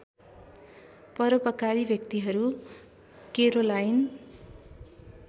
परोपकारी व्यक्तिहरू केरोलाइन